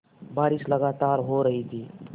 बारिश लगातार हो रही थी